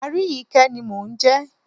Aríyìíkẹ́ ni mò ń jẹ́.